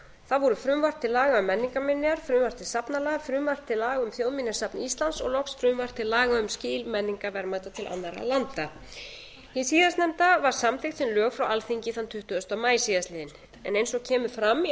það voru frumvarp til laga um menningarminjar frumvarp til safnalaga frumvarp til laga um þjóðminjasafn íslands og loks frumvarp til laga um um skil menningarverðmæta til annarra landa hið síðastnefnda vr samþykkt sem lög frá alþingi þann tuttugasta maí síðastliðinn en eins og kemur fram í